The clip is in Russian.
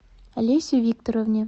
олесе викторовне